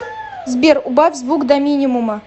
сбер убавь звук до минимума